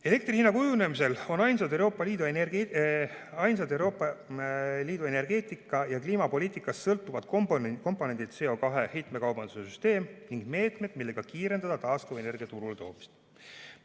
Elektri hinna kujunemisel on ainsad Euroopa Liidu energeetika‑ ja kliimapoliitikast sõltuvad komponendid CO2 heitmekaubanduse süsteem ning meetmed, millega kiirendada taastuvenergia turuletoomist.